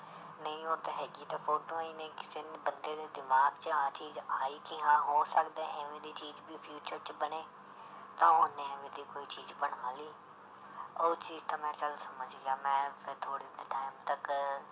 ਨਹੀਂ ਓਦਾਂ ਹੈਗੀ ਤਾਂ ਫੋਟੋਆਂ ਹੀ ਨੇ ਕਿਸੇ ਬੰਦੇ ਦੇ ਦਿਮਾਗ 'ਚ ਆਹ ਚੀਜ਼ ਆਈ ਕਿ ਹਾਂ ਹੋ ਸਕਦਾ ਇਵੇਂ ਦੀ ਚੀਜ਼ ਵੀ future 'ਚ ਬਣੇ, ਤਾਂ ਉਹਨੇ ਇਵੇਂ ਦੀ ਕੋਈ ਚੀਜ਼ ਬਣਾ ਲਈ ਉਹ ਚੀਜ਼ ਤਾਂ ਮੈ ਚੱਲ ਸਮਝ ਗਿਆ ਮੈਂ ਫਿਰ ਥੋੜ੍ਹੀ time ਤੱਕ